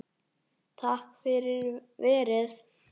Takk fyrir verið